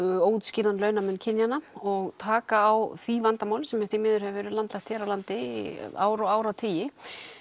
óútskýrðan launamun kynjanna og taka á því vandamáli sem því miður hefur verið landlægt hér á landi í ár og áratugi